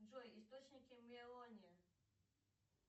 джой источники мелония